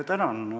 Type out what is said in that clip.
Tänan!